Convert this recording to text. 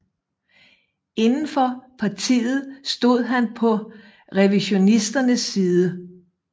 Indenfor partiet stod han på revisionisternes side